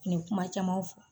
Nin kuma caman fɔ